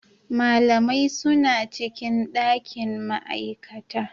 Malamai suna cikin dakin ma'aikata.